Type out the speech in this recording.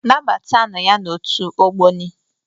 Nabata nụ ya n'otu Ogboni!